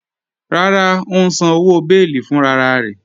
Rárá, ó ǹ sàn owo bẹ̀ẹlí fúnrararẹ̀